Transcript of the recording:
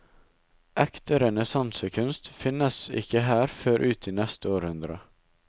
Ekte renessansekunst finnes ikke her før ut i neste århundre.